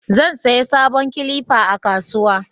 zan saya sabon kilifa a kasuwa